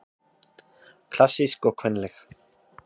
Klassísk og kvenleg